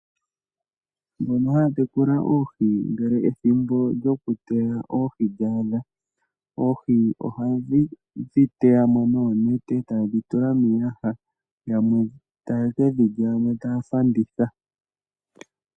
Aantu mbono haya tekula oohi ngele ethimbo lyo kuteya oohi dhawo lya thiki, oohi oha yedhi teyamo noonete, eta yedhi tula miiyaha, yamwe tayeke dhilya, yo yamwe taya fanditha.